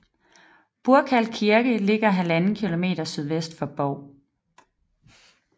Burkal Kirke ligger 1½ km sydvest for Bov